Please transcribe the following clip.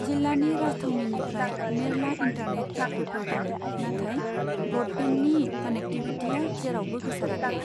जिल्लानि राजथावनिनिफ्राय मेरला इन्टारनेट केफेफोर दं, नाथाय ब्रडबेन्डनि कनेक्टिविटिया जेरावबो गोसाराखै।